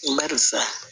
Barisa